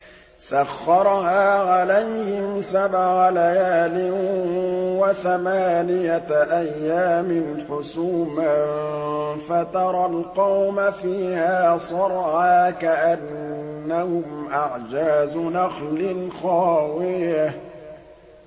سَخَّرَهَا عَلَيْهِمْ سَبْعَ لَيَالٍ وَثَمَانِيَةَ أَيَّامٍ حُسُومًا فَتَرَى الْقَوْمَ فِيهَا صَرْعَىٰ كَأَنَّهُمْ أَعْجَازُ نَخْلٍ خَاوِيَةٍ